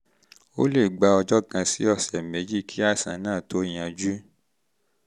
ó lè gba ọjọ́ kan sí ọ̀sẹ̀ méjì kí àìsàn náà kí àìsàn náà tó yanjú